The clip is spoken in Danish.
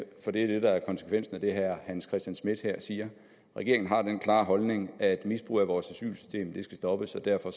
det er det der er konsekvensen af det herre hans christian schmidt her siger regeringen har den klare holdning at misbrug af vores asylsystem skal stoppes derfor